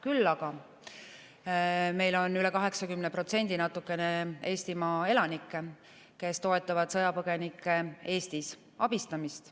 Küll aga meil on üle 80% natukene Eestimaa elanikke, kes toetavad sõjapõgenike Eestis abistamist.